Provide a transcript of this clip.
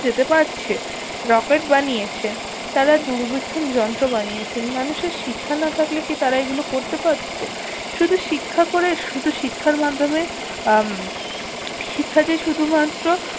যেতে পারছে রকেট বানিয়েছে তারা দূরবীক্ষণ যন্ত্র বানিয়েছে মানুষের শিক্ষা না থাকলেই কি তারা এগুলো করতে পারতো শুধু শিক্ষা শুধু শিক্ষার মাধ্যমে আহ শিক্ষা যে শুধুমাত্র